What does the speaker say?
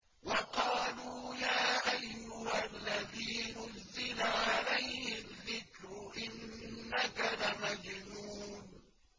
وَقَالُوا يَا أَيُّهَا الَّذِي نُزِّلَ عَلَيْهِ الذِّكْرُ إِنَّكَ لَمَجْنُونٌ